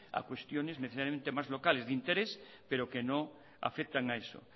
a cuestiones necesariamente más locales de interés pero que no afectan a eso